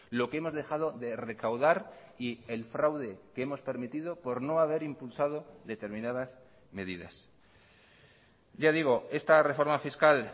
lo que hemos dejado de recaudar y el fraude que hemos permitido por no haber impulsado determinadas medidas ya digo esta reforma fiscal